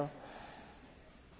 Frau Präsidentin!